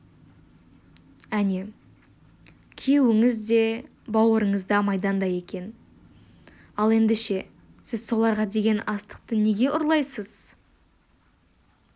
әне күйеуіңіз де бауырыңыз да майданда екен ал ендеше сіз соларға деген астықты неге ұрлайсыз